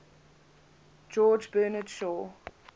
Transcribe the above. george bernard shaw